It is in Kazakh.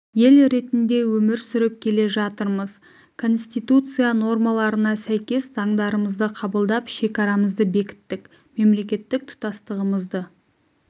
ел ретінде өмір сүріп келе жатырмыз конституция нормаларына сәйкес заңдарымызды қабылдап шекарамызды бекіттік мемлекеттік тұтастығымызды